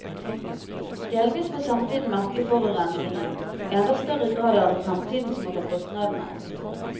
Delvis får samtiden merke forurensningen, og i enda større grad er det fremtiden som må ta kostnadene.